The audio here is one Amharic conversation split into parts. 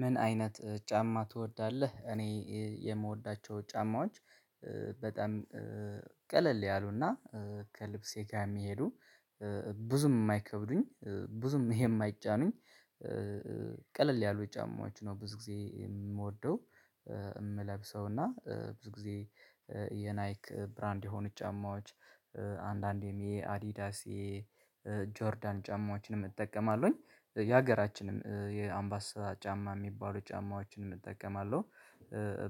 ምን አይነት ጫማ ትወዳለህ? እኔ የምወዳቸው ጫማዎች በጣም ቀለል ያሉና ከልብሴ ጋር የሚሄዱ ብዙም የማይከብዱኝ ብዙም የማይጫኑኝ። ቀለል ያሉ ጫማዎች ነው ብዙ ጊዜ የምወደው እምለብሰው እና ብዙ ጊዜ የናይክ ብራንድ የሆኑ ጫማዎች አንዳንዴም የአዲዳሲ የጆርዳን ጫማዎችንም እጠቀማለሁኝ የሀገራችንም የአምባሳ ጫማ የሚባሉ ጫማዎችንም እጠቀማለሁ።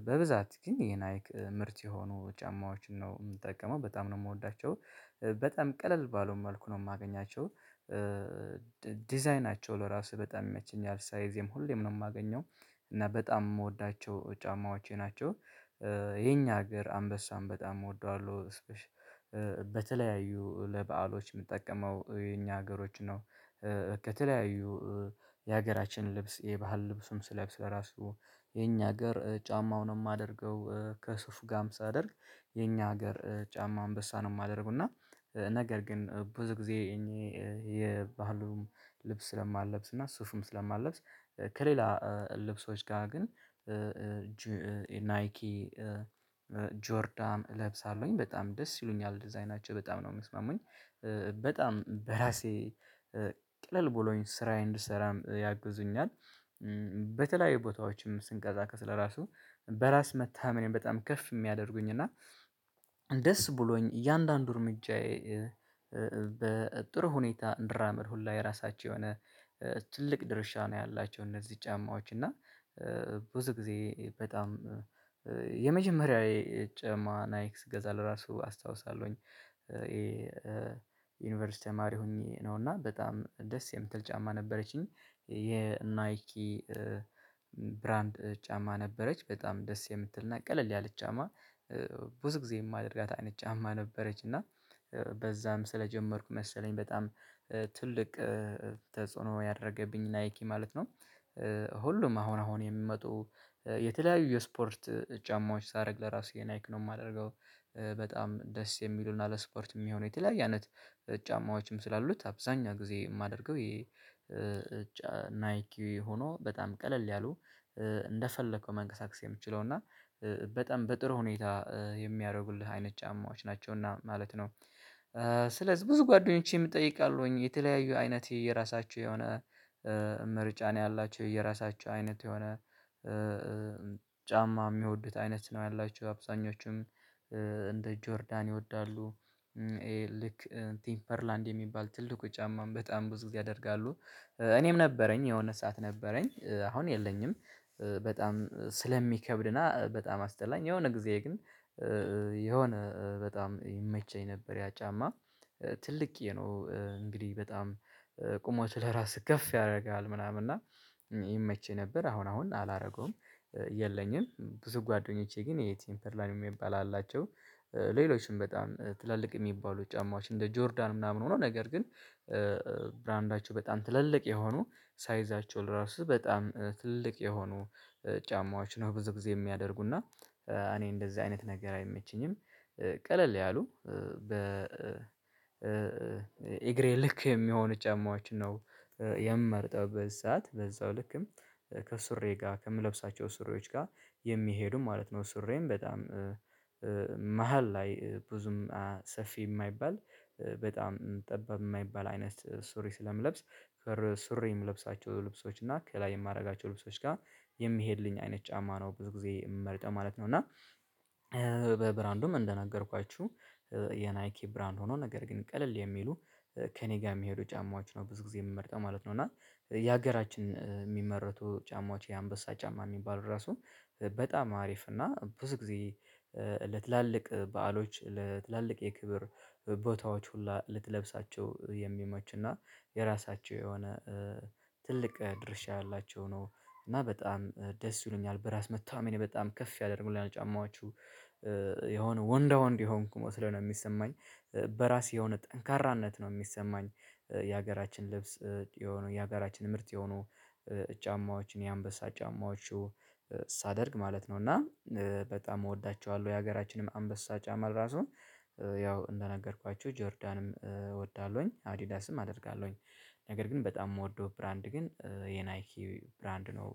በብዛት ግን የናይክ ምርት የሆኑ ጫማዎችን ነው የምጠቀመው በጣም ነው የምወዳቸው በጣም ቀለል ባሉ መልኩ ነው የማገኛቸው። ዲዛይናቸው ለራሱ በጣም ይመቸኛል ሳይዜም ሁሌም ነው የማገኘው እና በጣም የምወዳቸው ጫማዎቼ ናቸው የኛ ሀገር አንበሳም በጣም እወደዋለሁ። በተለያዩ ለበአሎች የምጠቀመው የኛ ሀገሮች ነው። ከተለያዩ የሀገራችን ልብስ የባህል ልብሱን ስለብስ ለራሱ የኛ ሀገር ጫማውንም አድርገው ከስፍ ጋም ሳደርግ የኛ ሀገር ጫማ አንበሳ ነው ማደርገው። እና ነገር ግን ብዙ ጊዜ እኔ የባህሉን ልብስ ስለማልለብስ እና ሱፍም ስለማልለብስ። ከሌላ ልብሶች ጋር ግን ናይኪ ጆርዳን እለብሳለሁኝ በጣም ደስ ይሉኛል ዲዛይናቸው በጣም ነው የሚስማሙኝ። በጣም በራሴ ቀለል ብሎኝ ስራዬን እንድሰራም ያግዙኛል። በተለያዩ ቦታዎችም ስንቀሳቀስ ለራሱ በራስ መታመን በጣም ከፍ የሚያደርጉኝ እና ደስ ብሎኝ እያንዳንዱ እርምጃዬ በጥሩ ሁኔታ እንድራመድ ሁላ የራሳቸው የሆነ ትልቅ ድርሻ ነው ያላቸው። እነዚህ ጫማዎች እና ብዙ ጊዜ በጣም የመጀመሪያ የጫማና ናይክ ስገዛ ለራሱ አስታውሳለሁኝ ይሄ ዩኒቨርሲቲ ተማሪ ሁኚ ነው እና በጣም ደስ የምትል ጫማ ነበረችኝ። የ ናይኪ ብራንድ ጫማ ነበረች በጣም ደስ የምትልና ቀለል ያለች ጫማ ብዙ ጊዜ የማደርጋት አይነት ጫማ ነበረች እና በዛም ስለጀመርኩ መሰለኝ በጣም ትልቅ ተጽዕኖ ያደረገብኝ ናይኪ ማለት ነው። ሁሉም አሁን አሁን የሚመጡ የተለያዩ የስፖርት ጫማዎች ሳደርግ ለራሱ ናይክ ነው የማደርገው በጣም ደስ የሚሉና ለስፖርት የሚሆነው የተለያየ አይነት ጫማዎችም ስላሉት አብዛኛው ጊዜ የማደርገው የ ናይኪ ሆኖ በጣም ቀለል ያሉ እንደፈለከው መንቀሳቀስ የምችለው እና በጣም በጥሩ ሁኔታ የሚያደርጉልህ አይነት ጫማዎች ናቸው እና ማለት ነው። ስለዚህ ብዙ ጓደኞቼም እጠይቃለሁኝ የተለያዩ አይነቴ የራሳቸው የሆነ ምርጫ ነው ያላችው የራሳችው አይነት የሆነ ጫማ የሚወዱት አይነት ነው ያላችው አብዛኞቹም እንደ ጆርዳን ይወዳሉ። ልክ ቴምፐርላንድ የሚባል ትልቁ ጫማም በጣም ብዙ ጊዜ ያደርጋሉ እኔም ነበረኝ የሆነ ሰዓት ነበረኝ አሁን የለኝም። በጣም ስለሚከብድና በጣም አስጠላኝ የሆነ ጊዜ ግን የሆነ በጣም ይመቸኝ ነበር ያ ጫማ። ትልቅዬ ነው እንግዲህ በጣም ቁመት ለራስህ ከፍ ያደርጋል ምናምን እና ይመች ነበር አሁን አሁን አላደርገውም። የለኝም ብዙ ጓደኞቼ ግን ይሄ ቴምፐርላንድ የሚባል አላቸው። ሌሎችም በጣም ትላልቅ የሚባሉ ጫማዎች እንደ ጆርዳን ምናምን ሆኖ ነገር ግን ብራንዳቸው በጣም ትልልቅ የሆኑ ሳይዛቸውን ለራሱ በጣም ትልቅ የሆኑ ጫማዎች ነው ብዙ ጊዜ የሚያደርጉና እኔ እንደዚህ አይነት ነገር አይመችኝም። ቀለል ያሉ በ እግሬ ልክ የሚሆኑ ጫማዎችን ነው የምመርጠው በዚ ሰዓት በዛው ልክም ከሱሪዬ ጋር ከምለብሳቸው ሱሪዎች ጋር የሚሄዱ ማለት ነው። ሱሪዬም በጣም መሃል ላይ ብዙም ሰፊ የማይባል በጣም ጠባብ የማይባል አይነት ሱሪ ስለምለብስ ፈር ሱሪ የምለብሳቸው ልብሶች እና ከላይ የማደርጋቸው ልብሶች ጋር የሚሄድልኝ አይነት ጫማ ነው ብዙ ጊዜ የምመርጠው ማለት ነው። እና በብራንዱም እንደነገርኳችሁ የናይኪ ብራንድ ሆኖ ነገር ግን ቀለል የሚሉ ከእኔ ጋር የሚሄዱ ጫማዎች ነው ብዙ ጊዜ የምመርጠው ማለት ነው። እና የሃገራችን የሚመረቱ ጫማዎች የአንበሳ ጫማ የሚባሉ ራሱ በጣም አሪፍ እና ብዙ ጊዜ ለትላልቅ በዓሎች ለትላልቅ የክብር ቦታዎች ሁላ ልትለብሳቸው የሚመችና የራሳቸው የሆነ ትልቅ ድርሻ ያላቸው ነው። እና በጣም ደስ ይሉኛል በራስ መተማመኔ በጣም ከፍ ያደርጉልናል ጫማዋችሁ የሆነ ወንዳ ወንድ የሆንኩ መስሎ ነው የሚሰማኝ። በራሴ የሆነ ጠንካራነት ነው የሚሰማኝ። የሀገራችን ልብስ የሆነ የሀገራችን ምርት የሆኑ ጫማዎችን የአንበሳ ጫማዎቹ ሳደርግ ማለት ነው እና በጣም እወዳቸዋለሁ። የሀገራችንም አንበሳ ጫማ ራሱ ያው እንደነገርኳችሁ ጆርዳንም እወዳለሁኝ አዲዳስም አደርጋለሁኝ ነገር ግን በጣም የምወደው ብራንድ ግን የናይኪ ብራንድ ነው